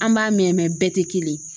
An b'a mɛn bɛɛ tɛ kelen ye.